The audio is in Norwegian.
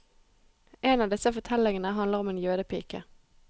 En av disse fortellingene handler om en jødepike.